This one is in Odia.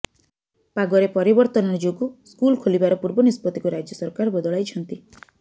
ପାଗରେ ପରିବର୍ତ୍ତ ଯୋଗୁଁ ସ୍କୁଲ ଖୋଲିବାର ପୂର୍ବ ନିଷ୍ପତିକୁ ରାଜ୍ୟ ସରକାର ବଦଳାଇଛନ୍ତି